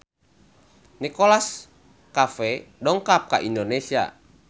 Nicholas Cafe dongkap ka Indonesia